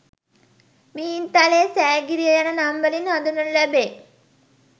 මිහින්තලය, සෑගිරිය යන නම් වලින් හඳුන්වනු ලැබේ.